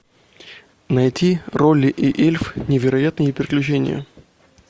найти ролли и эльф невероятные приключения